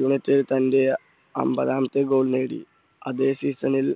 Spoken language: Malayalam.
യുണൈറ്റഡ് തൻറെ അമ്പതാമത്തെ goal നേടി അതേ season ൽ